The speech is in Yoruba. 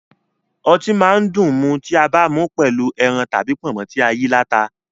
Ọtí máa dùn mu tí a bá mú pẹ̀lú ẹran tàbí pọ̀nmọ́ tí ayíaláta